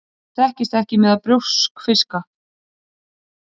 Þetta þekkist ekki meðal brjóskfiska.